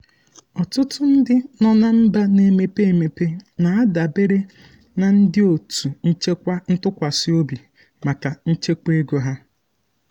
ọtụtụ ndị nọ na mba na-emepe emepe na-adabere na ndị otu nchekwa ntụkwasị obi maka nchekwa ego ha.